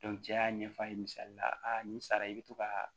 cɛ y'a ɲɛf'a ye misali la nin sara i bɛ to ka